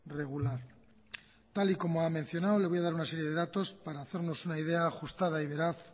regular tal y como ha mencionado le voy a dar una serie de datos para hacernos una idea ajustada y veraz